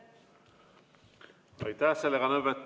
Aitäh!